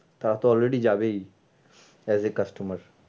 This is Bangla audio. তারা তো already যাবেই as a customer